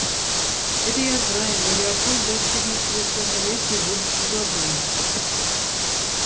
это я знаю но лепольд достигнет совершеннолетия в будущем году